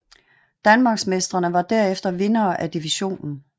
Danmarksmestrene var derefter vinderne af divisionen